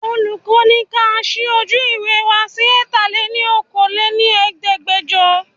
Olùkọ́ ni ka ṣí ojú ìwé wá sí Ẹ̀ta lè ní Okòó lé ní Ẹ̀ẹ́dẹ́gbẹjọ.